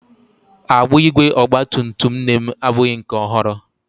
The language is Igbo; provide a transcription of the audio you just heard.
Agbụ ígwè ọgba tum tum nne m abụghị nke ọhụrụ.